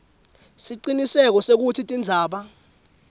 siciniseko sekutsi tindzaba